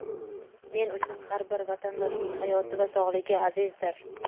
Men uchun har bir vatandoshning hayoti va sog‘lig‘i azizdir.